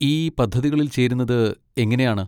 ഈ പദ്ധതികളിൽ ചേരുന്നത് എങ്ങനെയാണ്?